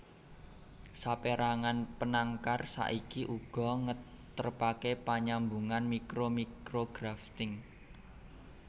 Sapérangan penangkar saiki uga ngetrepaké panyambungan mikro micrografting